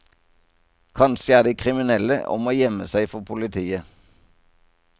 Kanskje er de kriminelle og må gjemme seg for politiet.